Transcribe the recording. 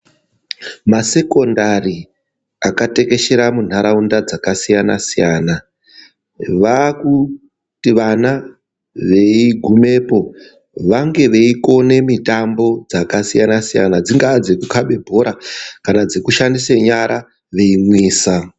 Masekondari akatekeshera muntaraunda dzakasiyana siyana, vakuti vana veigumepo vange veikone mitambo dzakasiyana siyana dzingaa dzekukabe bhora kana dzekushandise nyara veimwisa.